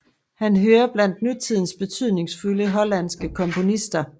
Han hører blandt nutidens betydningsfulde hollandske komponister